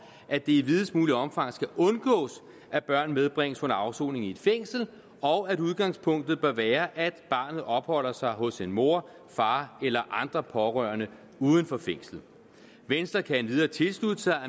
at det i videst mulige omfang skal undgås at børn medbringes under afsoningen i et fængsel og at udgangspunktet bør være at barnet opholder sig hos en mor far eller andre pårørende uden for fængslet venstre kan endvidere tilslutte sig